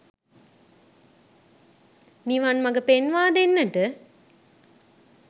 නිවන් මග පෙන්වා දෙන්නට